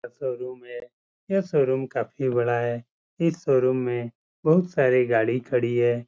यह शोरूम है| यह शोरूम काफी बड़ा है| इस शोरूम में बहोत सारी गाड़ी खड़ी है।